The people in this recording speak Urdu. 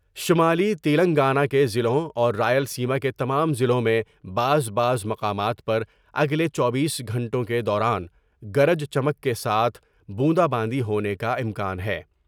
شمالی تلنگانہ کے ضلعوں اور رائل سیما کے تمام ضلعوں میں بعض بعض مقامات پر اگلے چوبیس گھنٹوں کے دوران گرج چمک کے ساتھ بوندا باندی ہونے کا امکان ہے ۔